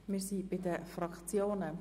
Wir kommen zu den Fraktionsvoten.